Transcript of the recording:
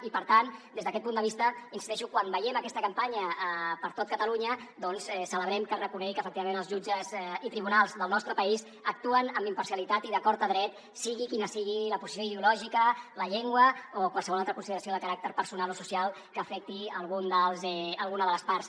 i per tant des d’aquest punt de vista hi insisteixo quan veiem aquesta campanya per tot catalunya doncs celebrem que es reconegui que efectivament els jutges i tribunals del nostre país actuen amb imparcialitat i d’acord a dret sigui quina sigui la posició ideològica la llengua o qualsevol altra consideració de caràcter personal o social que afecti alguna de les parts